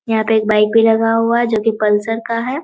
यहाँ पे एक बाइक भी लगा हुआ है जो कि पल्सर का है।